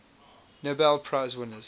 nobel prize winners